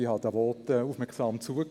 Ich habe den Voten aufmerksam zugehört.